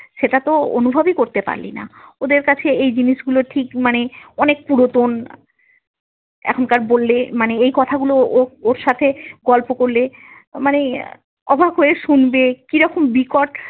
সেটাতো অনুভবই করতে পারলি না, ওদের কাছে এই জিনিসগুলো ঠিক মানে অনেক পুরোন, এখনকার বললে মানে এই কথাগুলো ওর সাথে গল্প করলে মানে আহ অবাক হয়ে শুনবে কিরকম বিকট।